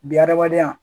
Bi hadamadenya